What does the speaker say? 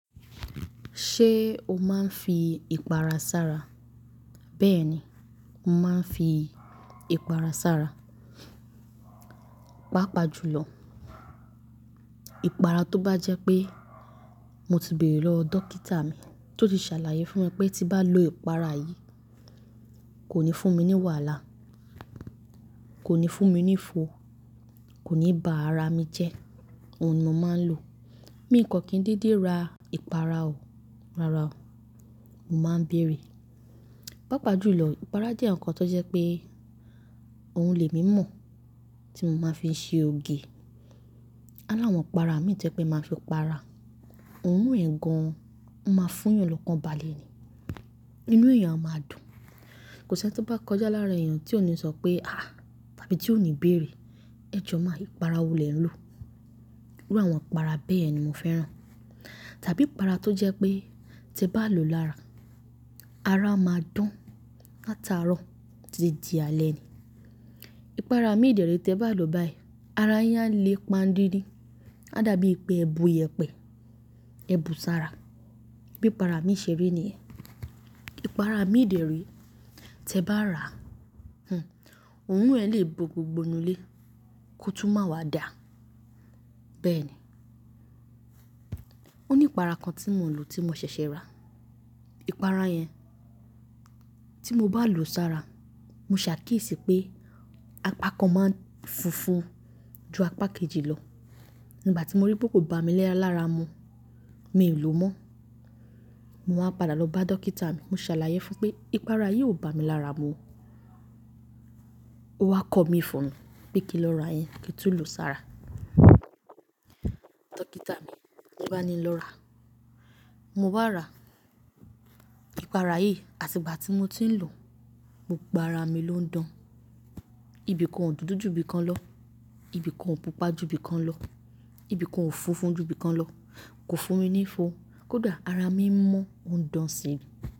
Ṣé o máa ń fi ìpara sára? Bẹ́ẹ̀ ni, mo máa ń fi ìpara sára. Pápá jù lọ, ìpara tó bá jẹ́ pé mo ti béèrè lọ dókítà mi tó ti ṣàlàyé fún mi pé tí bá lo ìpara yìí kò ní fún mi ní wàhálà, kò ní fún mi ní ìfo, kò ní ba ara mi jẹ́, òun ni mo máa ń lò. Mí ń kàn kí ń dídi ra ìpara ò, rárá ò, mo máa ń bèèrè. Pápá jù lọ, ìpara jẹ́ ǹkan tó jẹ́ pé òun lè mí mọ̀ tí mo máa fi ṣe oge. Aláwọ̀n ìpara mi to jẹ jẹ́ pé màá fi pa ara, òun ń ran gan, ó máa fún yàn lọ́kàn balẹ̀ ni. Inú èèyàn a máa dùn. Kò sí ẹni tí ó bá kọjá láàrín èèyàn tí ò ní sọ pé "àá" tàbí tí ò ní bèèrè "ẹ jọ máa, ìpara wo lè ń lò?" Irú àwọn ìpara bẹ́ẹ̀ ni mo fẹ́ràn. Tàbí ìpara tó jẹ́ pé tí bá lò lára, ara máa dán látarọ tí tí di alẹ́ ni. Ìpara mi ìdẹ̀rí tí ẹ bá lò báyìí, ara yán lè pa dídín, a dàbí pé ẹ bu iyẹ̀pẹ̀, ẹ bu sára. Bí ìpara mi ṣe rí ni ẹ. Ìpara mi ìdẹ̀rí tí ẹ bá rà á, oòrùn ẹ lè bo gbogbo inú ilé kó tún máa wá dà, bẹ́ẹ̀ ni. Ó ní ìpara kan tí mò ń lò tí mo ṣẹ̀ṣẹ̀ rà, ìpara yẹn tí mo bá lò sára, mo ṣàkíyèsí pé apá kan máa ń funfun ju apá kejì lọ. Nígbà tí mo rí pé kò bá mi lé ara mu, mi ò lò mọ́. Mo wá padà lọ bá dókítà mi, mo ṣàlàyé fún pé ìpara yìí ò bá mi lára mu. Ó wá kọ mí fún pé kí lọ ra yẹn kí n tún lò sára. Dókítà mi, tí bá ni lọ rà á, mo bá rà á, ìpara yìí àti ìgbà tí mo ti ń lò, gbogbo ara mi ló ń dán. Ibìkan ò dúdú ju ibìkan lọ, ibìkan ò pupa ju ibìkan lọ, ibìkan ò funfun ju ibìkan lọ, kò fún mi ní ìfo, kódà ara mi ń mọ́, ń dán si.